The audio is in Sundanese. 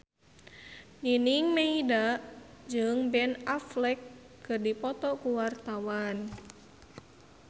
Nining Meida jeung Ben Affleck keur dipoto ku wartawan